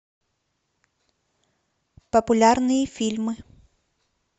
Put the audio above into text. популярные фильмы